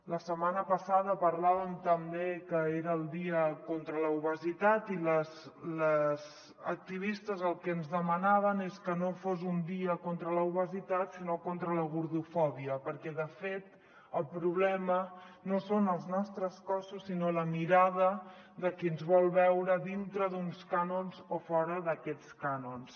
la setmana passada parlàvem també que era el dia contra l’obesitat i les activistes el que ens demanaven és que no fos un dia contra l’obesitat sinó contra la gordofòbia perquè de fet el problema no són els nostres cossos sinó la mirada de qui ens vol veure dintre d’uns cànons o fora d’aquests cànons